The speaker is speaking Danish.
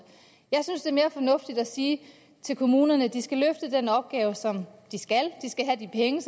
jeg synes det er mere fornuftigt at sige til kommunerne at de skal løfte den opgave som de skal de skal have de penge